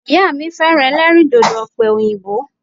Ìyá mi féràn elérìndòdò òpè òyìnbó